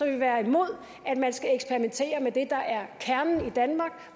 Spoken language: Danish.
vil være imod at man skal eksperimentere med det der er kernen i danmark